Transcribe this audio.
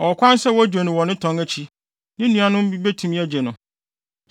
ɔwɔ kwan sɛ wogye no wɔ ne tɔn akyi; ne nuanom bi tumi begye no.